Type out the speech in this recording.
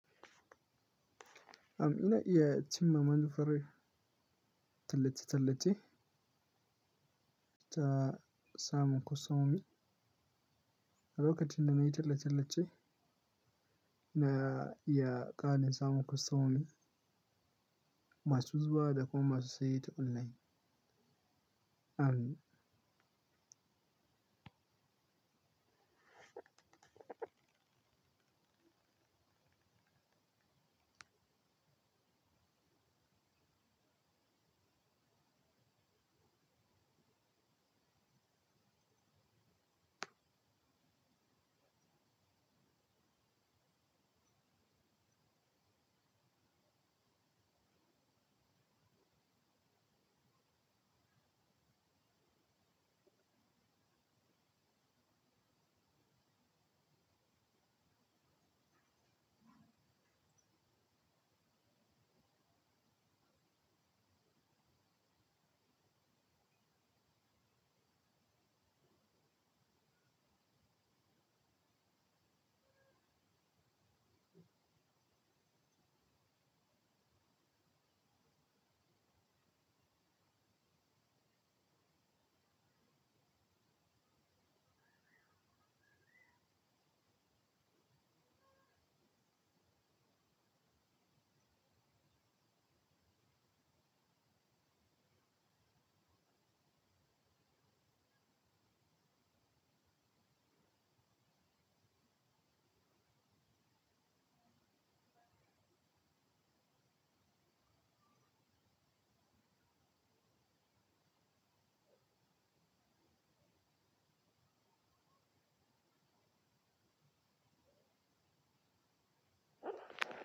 Um, ina iya cimma manufar tallace-tallace ta samun customomi. A lokacin da na yi tallace-tallace, na iya ƙara samun customomi masu zuwa da kuma masu saye ta online. Am.